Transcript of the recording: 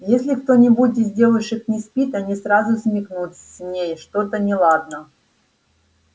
если кто-нибудь из девушек не спит они сразу смекнут с ней что-то неладно